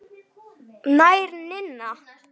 Kæra Ninna.